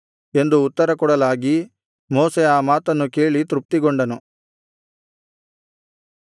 ಎಂದು ಉತ್ತರಕೊಡಲಾಗಿ ಮೋಶೆ ಆ ಮಾತನ್ನು ಕೇಳಿ ತೃಪ್ತಿಗೊಂಡನು